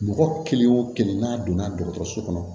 Mɔgɔ kelen o kelen n'a donna dɔgɔtɔrɔso kɔnɔ